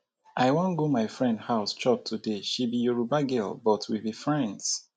i wan go my friend house chop today. she be yoruba girl but we be friends